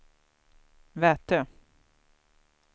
Vätö